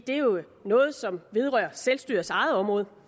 det er jo noget som vedrører selvstyrets eget område